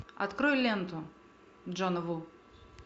открой ленту джона ву